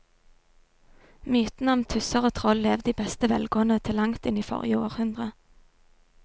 Mytene om tusser og troll levde i beste velgående til langt inn i forrige århundre.